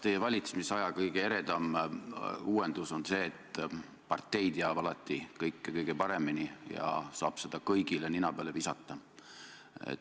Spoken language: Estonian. Teie valitsemisaja kõige eredam uuendus on see, et partei teab alati kõike kõige paremini ja saab seda kõigile nina peale visata.